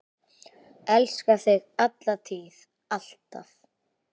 Elska þig, alla tíð, alltaf.